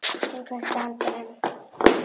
Hann kveikti andann.